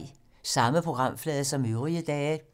Samme programflade som øvrige dage